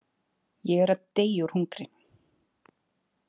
Ég er að deyja úr hungri